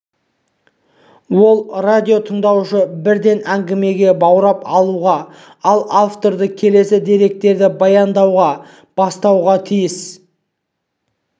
ол радиотыңдаушыны бірден әңгімеге баурап алуға ал авторды келесі деректерді баяндауға бастауға тиіс